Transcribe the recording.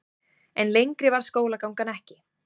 En lengri varð skólagangan ekki.